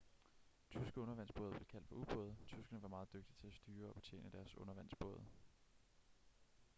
tyske undervandsbåde blev kaldt for u-både tyskerne var meget dygtige til at styre og betjene deres undervandsbåde